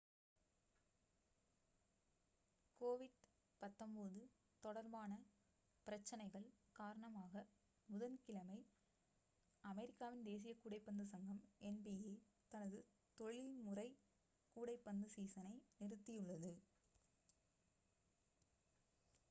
covid-19 தொடர்பான பிரச்சனைகள் காரணமாகப் புதன்கிழமை அமெரிக்காவின் தேசிய கூடைப்பந்து சங்கம் nba தனது தொழில்முறை கூடைப்பந்து சீசனை நிறுத்தியுள்ளது